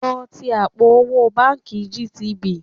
Lọ ṣí àpò owó báǹkì GTB